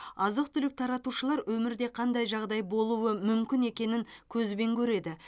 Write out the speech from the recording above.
азық түлік таратушылар өмірде қандай жағдай болуы мүмкін екенін көзбен көреді